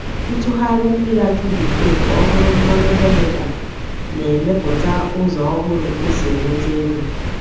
Ịtụgharị mmiri akị bekee ka ọ bụrụ mmanụ vinega na-emepụta ụzọ ọhụrụ esi enweta ego.